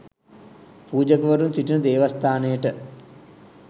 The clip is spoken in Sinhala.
පූජකවරුන් සිටින දේවස්ථානයට